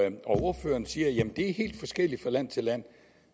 ordføreren siger at det er helt forskelligt fra land til land